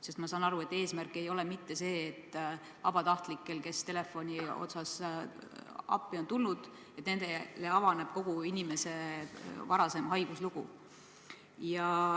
Sest ma saan aru, et eesmärk ei ole mitte see, et vabatahtlikele, kes on tulnud appi telefonile vastama, avaneb kogu inimese varasem haiguslugu.